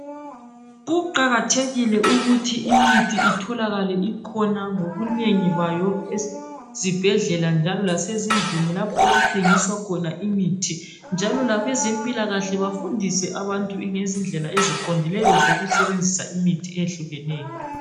Kuqakathekile ukuthi imithi itholakale ikhona iminengi esibhedlela lasendlini lapho okuthengiswa khona imithi njalo labezempilakahle bafundise abantu ngezindlela eziqondileyo zokusebenzisa imithi ehlukeneyo